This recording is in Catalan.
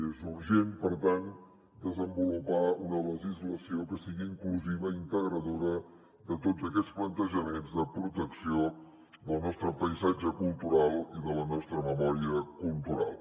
és urgent per tant desenvolupar una legislació que sigui inclusiva integradora de tots aquests plantejaments de protecció del nostre paisatge cultural i de la nostra memòria cultural